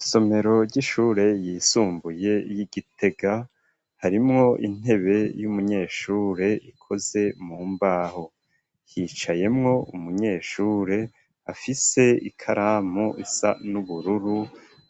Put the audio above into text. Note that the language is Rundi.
Isomero ry'ishure yisumbuye y'igitega harimwo intebe y'umunyeshure ikoze mu mbaho hicayemwo umunyeshure afise ikaramu isa n'ubururu